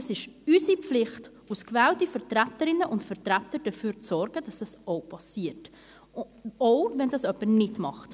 Es ist unsere Pflicht als gewählte Vertreterinnen und Vertreter, dafür zu sorgen, dass dies auch geschieht.